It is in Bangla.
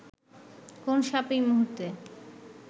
কোন সাপ এই মুহূর্তে